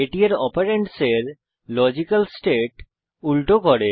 এটি এর অপেরেন্ডের লজিক্যাল স্টেট উল্টো করে